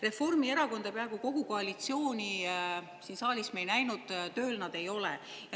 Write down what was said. Reformierakonda ja peaaegu kogu koalitsiooni siin saalis me ei näinud, tööl nad ei ole.